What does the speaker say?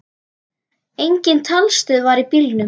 Engin talstöð var í bílnum.